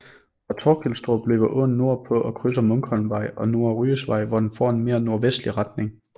Fra Torkilstrup løber åen nordpå og krydser Munkholmvej og Nordre Ryesvej hvor den får en mere nordvestlig retning